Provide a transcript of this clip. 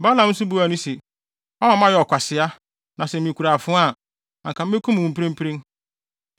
Balaam nso buaa no se, “Woama mayɛ ɔkwasea! Na sɛ mikura afoa a, anka mekum wo mprempren.”